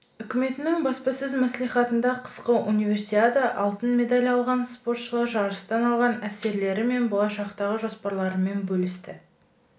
үкіметінің баспасөз маслихатында қысқы универсиада алтын медаль алған спортшылар жарыстан алған әсерлері мен болашақтағы жоспарларымен бөлісті